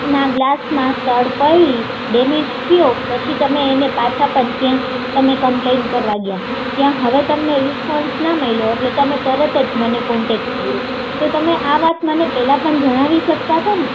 ના ગ્લાસ માં તડ પડી ડેમેજ થયો પછી તમે એને પાછા પણ ત્યાં એને કમ્પ્લેન કરવા ગયા હવે તમને રિસ્પોન્સ ના મયલો એટલે તરત જ મને કોન્ટેક્ટ કર્યો તો તમે આ વાત મને પહેલાં પણ જણાવી શકતા